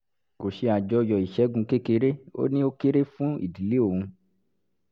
kò ṣe àjọyọ̀ ìṣẹ́gun kékeré ó ní ó kéré fún ìdílé òun